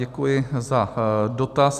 Děkuji za dotaz.